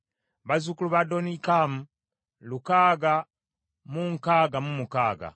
bazzukulu ba Adonikamu lukaaga mu nkaaga mu mukaaga (666),